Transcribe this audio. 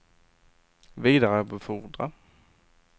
vidarebefordra